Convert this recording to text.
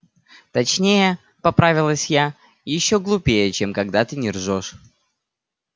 точнее поправилась я ещё глупее чем когда ты не ржёшь